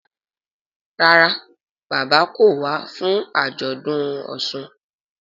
Ràrá bàbá kọ wá fún ajọdun òsùn.